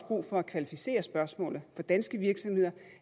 brug for at kvalificere spørgsmålet for danske virksomheder